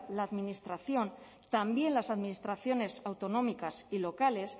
la administración también las administraciones autonómicas y locales